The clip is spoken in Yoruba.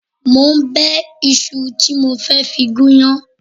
Mo ń bẹ iṣu tí mo fẹ́ fi gún iyán